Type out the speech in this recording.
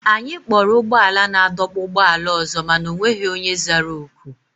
Anyị kpọrọ ụgbọala naadọkpụ ụgbọala ọzọ mana o nweghị onye zara oku.